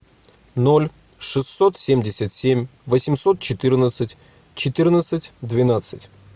ноль шестьсот семьдесят семь восемьсот четырнадцать четырнадцать двенадцать